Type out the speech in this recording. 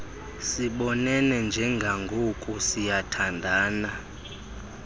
sibonene njengangoku siyathandana